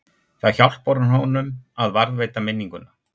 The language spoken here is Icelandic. Það hjálpar honum að varðveita minninguna.